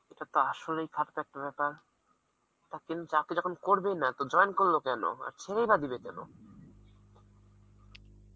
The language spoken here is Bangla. ইটা তো আসলেই বেপার, তা কেউ চাকরি যখন করেই না তো join করলো কেন আর ছেড়েই বা দিবে কেন?